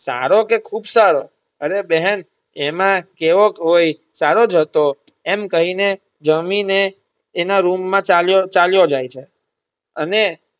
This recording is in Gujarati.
સારો કે ખુબ સારો અરે બહેન એમાં કેવોક હોય સારો જ હતો મ કહી ને જામી ને એના રૂમ માં ચાલ્યો ચાલ્યો જાય છે અને.